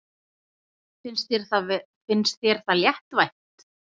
Finnst þér það léttvægt?